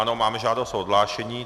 Ano, máme žádost o odhlášení.